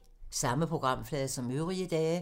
Samme programflade som øvrige dage